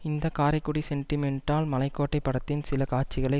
இந்த காரைக்குடி சென்டிமெண்டால் மலைக்கோட்டை படத்தின் சில காட்சிகளை